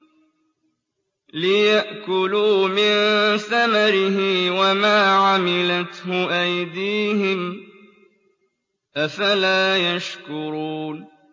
لِيَأْكُلُوا مِن ثَمَرِهِ وَمَا عَمِلَتْهُ أَيْدِيهِمْ ۖ أَفَلَا يَشْكُرُونَ